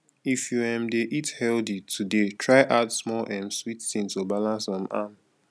if you um dey eat healthy today try add small um sweet thing to balance um am